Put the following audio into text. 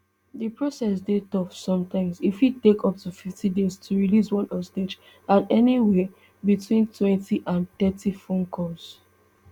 di process dey tough sometimes e fit take up to fifty days to release one hostage and anywia between twenty and thirty phone calls